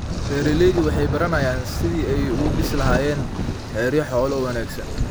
Beeraleydu waxay baranayaan sidii ay u dhisi lahaayeen xeryo xoolo oo wanaagsan.